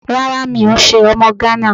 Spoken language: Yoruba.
Rárá mi ò n se ọmọ Gánà